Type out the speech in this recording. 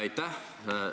Aitäh!